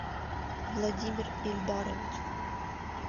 владимир ильдарович